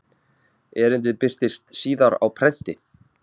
Erindið birtist síðar á prenti.